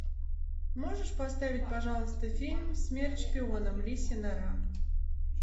можешь поставить пожалуйста фильм смерть шпионам лисья нора